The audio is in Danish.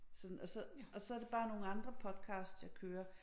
Sådan og så og så det bare nogle andre podcast jeg kører